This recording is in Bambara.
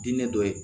Diinɛ dɔ ye